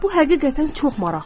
Bu həqiqətən çox maraqlıdır.